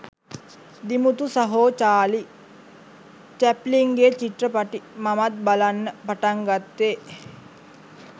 දිමුතු සහෝ චාලි චැප්ලින්ගේ චිත්‍රපටි මමත් බලන්න පටන්ගත්තේ